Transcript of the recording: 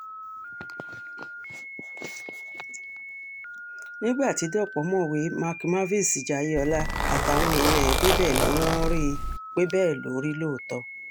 nígbà tí dọ̀pọ̀ mọ̀wé mark marvis jayeola àtàwọn èèyàn ẹ̀ débẹ̀ ni wọ́n rí i pé bẹ́ẹ̀ ló rí lóòótọ́